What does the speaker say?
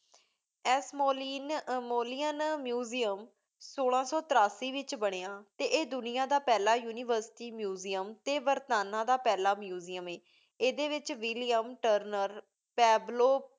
Ashmolean museum ਸੋਲਾ ਸੋ ਤੇਰਾਸੀ ਵਿਚ ਬਨਯ ਆਯ ਦੁਨਿਯਾ ਦਾ ਪਹਲਾ university museum ਟੀ ਬਰਤਾਨੀਆ ਦਾ ਪਹਲਾ museum ਹੈ ਈਦੀ ਵਿਚ william nocturnal kabro